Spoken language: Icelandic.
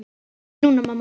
Ekki núna, mamma.